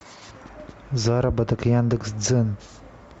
заработок яндекс дзен